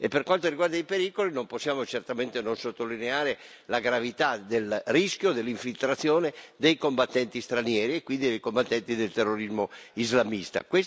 E per quanto riguarda i pericoli, non possiamo certamente non sottolineare la gravità del rischio dell'infiltrazione dei combattenti stranieri, e quindi dei combattenti del terrorismo islamista.